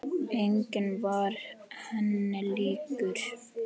Enginn var henni líkur.